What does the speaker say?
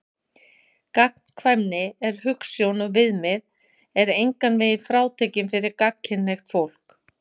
Gagnkvæmni sem hugsjón og viðmið er engan veginn frátekin fyrir gagnkynhneigt fólk.